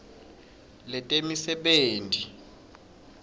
letemisebenti